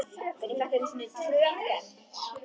Spurðu bara afa, hann þekkir hana!